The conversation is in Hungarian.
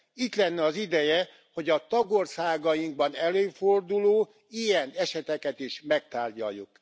Itt lenne az ideje, hogy a tagországainkban előforduló ilyen eseteket is megtárgyaljuk.